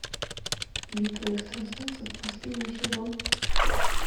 битва экстрасенсов последний сезон